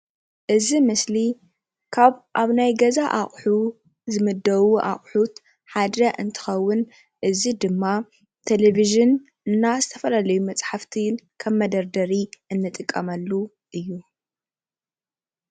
እዚ ምስሊ ካብ ኣብ ናይ ገዛ ኣቁሑ ዝምደቡ ኣቁሑት ሓደ እንትከውን እዚ ድማ ቴለቪዥን እና ዝተፈላለዩ መፅሓፍቲ ከም መደርደሪ እንጥቀመሉ እዩ፡፡